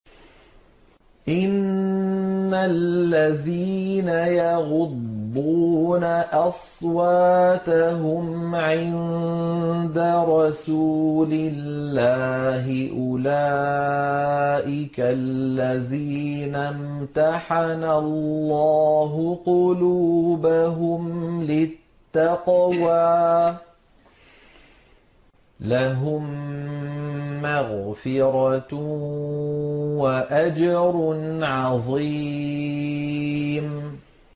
إِنَّ الَّذِينَ يَغُضُّونَ أَصْوَاتَهُمْ عِندَ رَسُولِ اللَّهِ أُولَٰئِكَ الَّذِينَ امْتَحَنَ اللَّهُ قُلُوبَهُمْ لِلتَّقْوَىٰ ۚ لَهُم مَّغْفِرَةٌ وَأَجْرٌ عَظِيمٌ